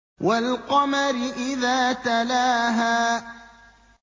وَالْقَمَرِ إِذَا تَلَاهَا